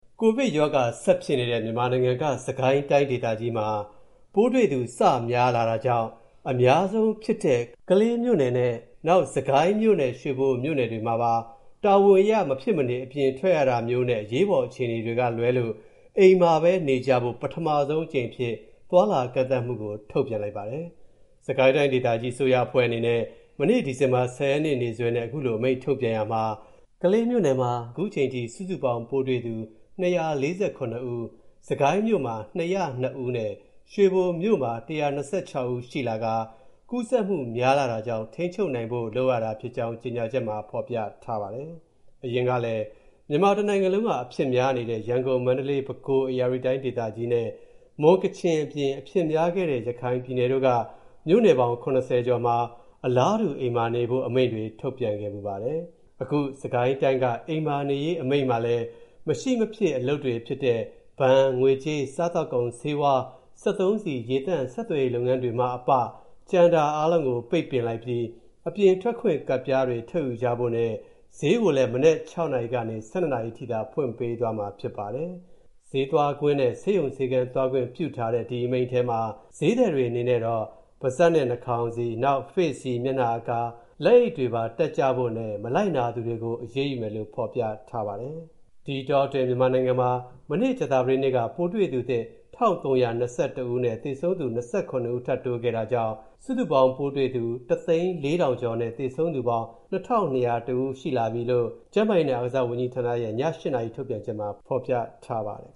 ကိုဗစ်ရောဂါဆက်ဖြစ်နေတဲ့မြန်မာနိုင်ငံက စစ်ကိုင်းတိုင်းမှာလည်း ပိုးတွေ့သူစများလာတာကြောင့် အများဆုံးဖြစ်တဲ့ ကလေးမြို့နယ်နဲ့၊ နောက် စစ်ကိုင်းနဲ့ ရွေဘိုမြို့နယ်တွေမှာပါ တာဝန်အရ မဖြစ်မနေ အပြင်ထွက်ရတာမျိုးနဲ့ အရေးပေါ် အခြေအနေတွေကလွဲလို့ အိမ်မှာဘဲ နေကြဖို့ ပထမဆုံးအကြိမ်အဖြစ် သွားလာမှု ကန့်သတ်မှုကို ထုတ်ပြန်လိုက်ပါတယ်။ စစ်ကိုင်းတိုင်းဒေသကြီးအစိုးရအဖွဲ့အနေနဲ့ မနေ့ ဒီဇင်ဘာ ၁၀ ရက်နေ့စွဲနဲ့ ခုလိုအမိန့်ထုတ်ပြန်ရာမှာ ကလေးမြို့နယ်မှာ ခုချိန်ထိ စုစုပေါင်း ပိုးတွေ့သူ ၂၄၇ ဦး၊ စစ်ကိုင်းမြို့မှာ ၂၀၂ ဦးနဲ့ ရွေဘိုမြို့မှာ ၁၂၆ ဦးရှိလာကာ ကူးစက်မူများလာတာကြောင့် ထိန်းချုပ်နိုင်ဖို့ လုပ်ရတာဖြစ်ကြောင်း ကြေညာချက်မှာ ဖော်ပြထားပါတယ်။ အရင်ကလည်း မြန်မာတနိုင်ငံလုံးက အဖြစ်များနေတဲ့ ရန်ကုန်၊ မန္တလေး၊ ပဲခူး၊ ဧရာဝတီတိုင်း ဒေသကြီးနဲ့ မွန်၊ ကချင်အပြင်၊ အဖြစ်များခဲ့တဲ့ ရခိုင်ပြည်နယ်တို့က မြို့နယ်ပေါင်း ၇၀ ကျော်မှာ အလားတူ အိမ်မှာနေဖို့ အမိန့်တွေ ထုတ်ပြန်ခဲ့ဖူးပါတယ်။ အခုစစ်ကိုင်းတိုင်းက အိမ်မှာနေရေးအမိန့်မှာလည်း မရှိမဖြစ်အလုပ်တွေဖြစ်တဲ့ ဘဏ်၊ ငွေကြေး၊ စားသောက်ကုန်၊ ဆေးဝါး၊ စက်သုံးဆီ၊ ရေသန့်၊ ဆက်သွယ်ရေးလုပ်ငန်းတွေမှအပ ကျန်တာအားလုံးကို ပိတ်ပင်လိုက်ပြီး၊ အပြင်ထွက်ခွင့်ကတ်ပြားတွေ ထုတ်ယူကြဖို့နဲ့ ဈေးကိုလည်း မနက် ၆ နာရီကနေ ၁၂ နာရီအထိသာ ဖွင့်ပေးသွားမှာ ဖြစ်ပါတယ်။ ဈေးသွားခွင့်နဲ့ ဆေးရုံဆေခန်းသွားခွင့်ပြုထားတဲ့ ဒီအမိန့်ထဲမှာပဲ ဈေးသည်တွေအနေနဲ့တော့ ပါးစပ်နဲ့ နှာခေါင်းစည်း၊ နောက် Face-Shield၊ လက်အိပ်တွေ တပ်ကြဖို့နဲ့ မလိုက်နာသူတွေကို အရေးယူမယ်လို့ ဖော်ပြထားပါတယ်။ ဒီအတောအတွင်း မြန်မာနိုင်ငံမှာ မနေ့ ကြာသပတေးနေ့က ပိုးတွေ့သူသစ် ၁,၃၂၁ ဦးနဲ့၊ သေဆုံးသူ ၂၇ ထပ်တိုးခဲ့တာကြောင့် စုစုပေါင်းပိုးတွေ့သူ ၁၀၄,၀၀၀ ကျော်နဲ့ သေဆုံးသူပေါင်း ၂,၂၀၁ ဦးရှိလာပြီလို့ ကျန်းမာရေးနဲ့အားကစားဝန်ကြီးဌာနရဲ့ ည (၈) နာရီထုတ်ပြန်ချက်မှာ ဖော်ပြထားပါတယ်